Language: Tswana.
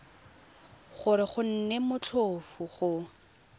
gore go nne motlhofo go